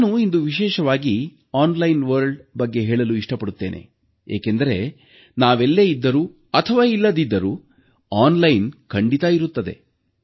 ನಾನು ಇಂದು ವಿಶೇಷವಾಗಿ ಆನ್ಲೈನ್ ಜಗತ್ತಿನ ಬಗ್ಗೆ ಹೇಳಲು ಇಷ್ಟಪಡುತ್ತೇನೆ ಏಕೆಂದರೆ ನಾವೆಲ್ಲೇ ಇದ್ದರೂ ಅಥವಾ ಇಲ್ಲದಿದ್ದರೂ ಆನ್ಲೈನ್ ಖಂಡಿತಾ ಇರುತ್ತೆ